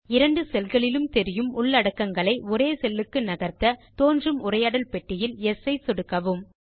இரண்டு செல்களிலும் தெரியும் உள்ளடக்கங்களை ஒரே செல்லுக்கு நகர்த்த தோன்றும் உரையாடல் பெட்டியில் யெஸ் ஐ சொடுக்கவும்